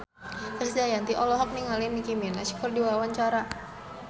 Krisdayanti olohok ningali Nicky Minaj keur diwawancara